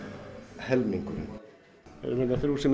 helmingurinn við erum hérna þrjú sem